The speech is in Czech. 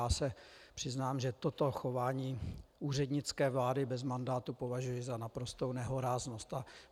Já se přiznám, že toto chování úřednické vlády bez mandátu považuji za naprostou nehoráznost.